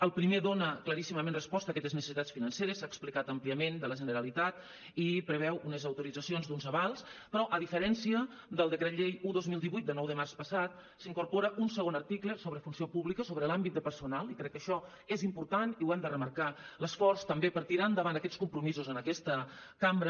el primer dona claríssimament resposta a aquestes necessitats financeres s’ha explicat àmpliament de la generalitat i preveu unes autoritzacions d’uns avals però a diferència del decret llei un dos mil divuit de nou de març passat s’incorpora un segon article sobre funció pública sobre l’àmbit de personal i crec que això és important i ho hem de remarcar l’esforç també per tirar endavant aquests compromisos en aquesta cambra